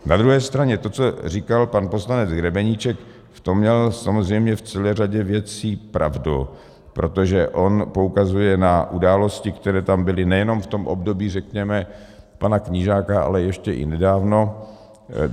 Na druhé straně to, co říkal pan poslanec Grebeníček, v tom měl samozřejmě v celé řadě věcí pravdu, protože on poukazuje na události, které tam byly nejenom v tom období, řekněme, pana Knížáka, ale ještě i nedávno.